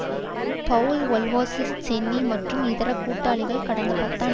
Powell Wolfowitz Cheney மற்றும் இதர கூட்டாளிகள் கடந்த பத்தாண்டுகளுக்கு